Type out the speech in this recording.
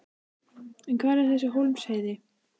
En hvar er þessi Hólmsheiði?